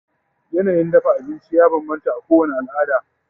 yanayin dafa abinci ya banbanta a kowani alada